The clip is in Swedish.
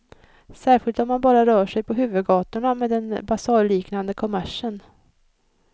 Särskilt om man bara rör sig på huvudgatorna med den basarliknande kommersen.